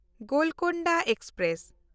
Golconda express